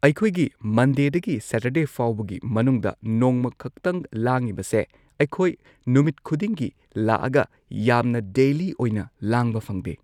ꯑꯩꯈꯣꯏꯒꯤ ꯃꯟꯗꯦꯗꯒꯤ ꯁꯦꯇꯔꯗꯦ ꯐꯥꯎꯕꯒꯤ ꯃꯅꯨꯡꯗ ꯅꯣꯡꯃ ꯈꯛꯇꯪ ꯂꯥꯡꯏꯕꯁꯦ ꯑꯩꯈꯣꯢ ꯅꯨꯃꯤꯠ ꯈꯨꯗꯤꯡꯒꯤ ꯂꯥꯛꯑꯒ ꯌꯥꯝꯅ ꯗꯦꯂꯤ ꯑꯣꯏꯅ ꯂꯥꯡꯕ ꯐꯪꯗꯦ꯫